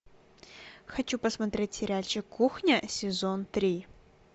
хочу посмотреть сериальчик кухня сезон три